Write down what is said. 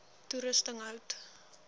toerusting hout